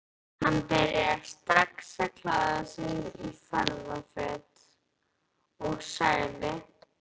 Hann byrjaði strax að klæða sig í ferðaföt og sagði